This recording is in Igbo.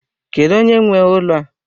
Kedu onye nwe ụlọ a?